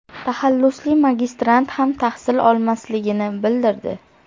taxallusli magistrant ham tahsil olmasligini bildirdi .